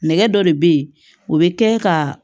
Nɛgɛ dɔ de bɛ ye o bɛ kɛ ka